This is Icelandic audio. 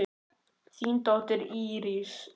Þín dóttir, Íris.